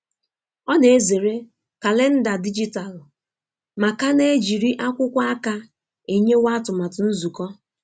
Ọ na-ezere kalenda dijitalụ ma ka na- ejiri akwụkwo aka enyewa atụmatụ nzukọ.